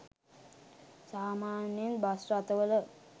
සාමාන්‍යයෙන් බස් රථවල